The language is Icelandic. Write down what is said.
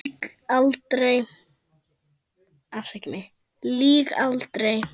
Lýg aldrei.